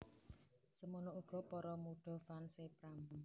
Semono uga para mudha fans é Pram